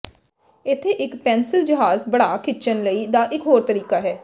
ਇੱਥੇ ਇੱਕ ਪੈਨਸਿਲ ਜਹਾਜ਼ ਪੜਾਅ ਖਿੱਚਣ ਲਈ ਦਾ ਇਕ ਹੋਰ ਤਰੀਕਾ ਹੈ